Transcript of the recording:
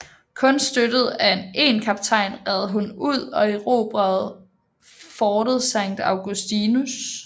Kun støttet af én kaptajn red hun ud og erobrede fortet Saint Augustins